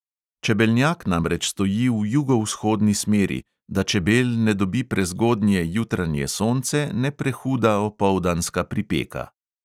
Čebelnjak namreč stoji v jugovzhodni smeri, da čebel ne dobi prezgodnje jutranje sonce ne prehuda opoldanska pripeka.